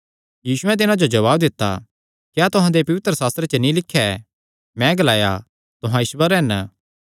यीशुयैं तिन्हां जो जवाब दित्ता क्या तुहां दे पवित्रशास्त्रे च नीं लिख्या ऐ मैं ग्लाया तुहां ईश्वर हन